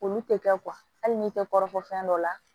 Olu tɛ kɛ hali n'i tɛ kɔrɔbɔ fɛn dɔ la